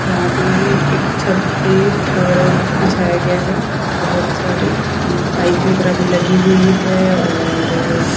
यहाँ पे एक छत पे फड बिछाया गया है बहुत सारी अ पाइप वगैरा भी लगी हुइ है और--